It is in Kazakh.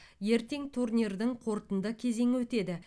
ертең турнирдің қорытынды кезеңі өтеді